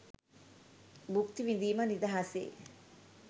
භුක්ති විඳීම නිදහසේ